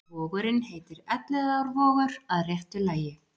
Vogurinn heitir Elliðaárvogur að réttu lagi.